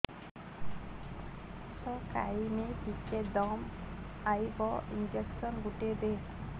କିସ ଖାଇମି ଟିକେ ଦମ୍ଭ ଆଇବ ଇଞ୍ଜେକସନ ଗୁଟେ ଦେ